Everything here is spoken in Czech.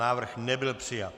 Návrh nebyl přijat.